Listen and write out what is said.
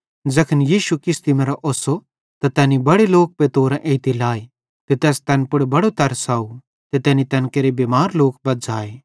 ज़ैखन यीशु किश्ती मरां ओस्सो त तैनी बड़े लोक पतोरां एइते लाए ते तैस तैन पुड़ बड़ो तरस आव ते तैनी तैन केरे बिमार लोक बज़्झ़ाए